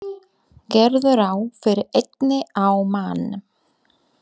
Gerðu ráð fyrir einni á mann.